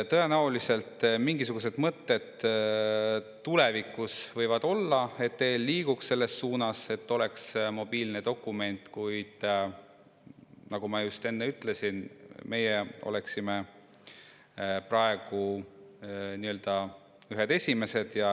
Tõenäoliselt tulevikus mingisugused mõtted võivad olla, et EL liigub selles suunas, et oleks mobiilne dokument, kuid nagu ma enne ütlesin, meie oleksime praegu ühed esimesed.